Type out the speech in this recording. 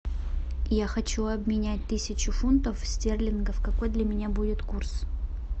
я хочу обменять тысячу фунтов стерлингов какой для меня будет курс